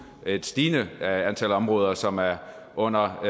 et stigende antal områder som er under